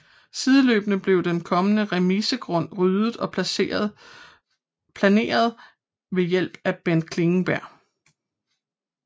Sideløbende blev den kommende remisegrund ryddet og planeret med hjælp fra Bent Klingenberg